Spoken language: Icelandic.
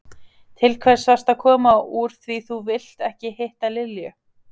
Til hvers varstu að koma úr því þú vilt ekki hitta Lilju?